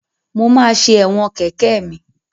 Mo máa ṣe ẹ̀wọ̀n kẹ̀kẹ́ mi.